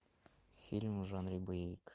фильм в жанре боевик